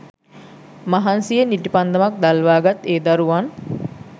මහන්සියෙන් ඉටිපන්දමක් දල්වා ගත් ඒ දරුවන්